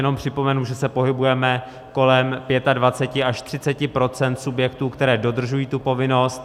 Jenom připomenu, že se pohybujeme kolem 25 až 30 % subjektů, které dodržují tu povinnost.